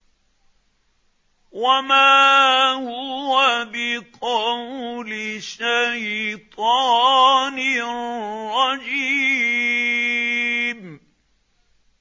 وَمَا هُوَ بِقَوْلِ شَيْطَانٍ رَّجِيمٍ